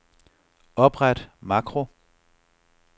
Opret makro.